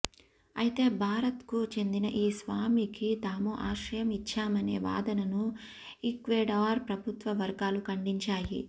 అయితే భారత్కు చెందిన ఈ స్వామికి తాము ఆశ్రయం ఇచ్చామనే వాదనను ఈక్వెడార్ ప్రభుత్వ వర్గాలు ఖండించాయి